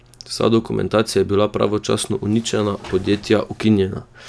Vsa dokumentacija je bila pravočasno uničena, podjetja ukinjena!